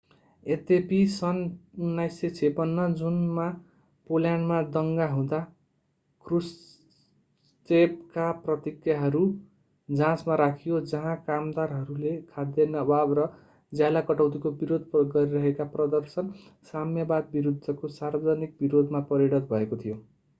यद्यपि सन् 1956 जुनमा पोल्यान्डमा दङ्गा हुँदा ख्रुश्चेभका प्रतिज्ञाहरू जाँचमा राखियो जहाँ कामदारहरूले खाद्यान्न अभाव र ज्याला कटौतीको विरोध गरिरहेका प्रदर्शन साम्यवाद विरूद्धको सार्वजनिक विरोधमा परिणत भएको थियो